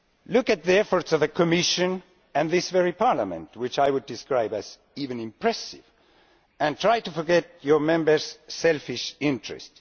Look at the efforts of the Commission and this very Parliament, which I would go so far as to describe as impressive, and try to forget your members' selfish interest.